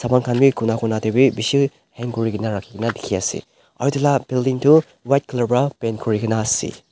saman khan bi cona cona tae bi bishi hang kurikaena rakhina dikhiase aro edu la building tu white colour pra paint kurinaase.